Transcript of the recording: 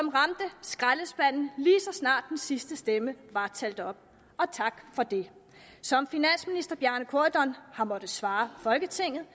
snart den sidste stemme var talt op og tak for det som finansminister bjarne corydon har måttet svare folketinget